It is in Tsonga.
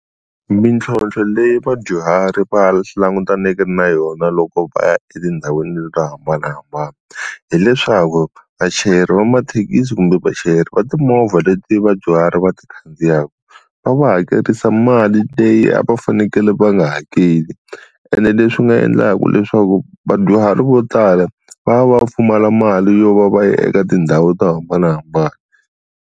Mintlhontlho leyi vadyuhari va langutaneke na yona loko va ya etindhawini to hambanahambana hileswaku vachayeri va mathekisi kumbe vachayeri va timovha leti vadyuhari va ti khandziyaka va va hakerisa mali leyi a va fanekele va nga hakeli ene leswi swi nga endlaka leswaku vadyuhari vo tala va va va pfumala mali yo va va ya eka tindhawu to hambanahambana.